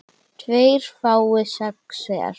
tveir fái sex hver